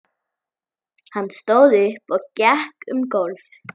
Hann stóð upp og gekk um gólf.